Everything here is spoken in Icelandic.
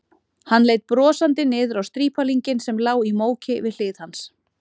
Hann leit brosandi niður á strípalinginn sem lá í móki við hlið hans.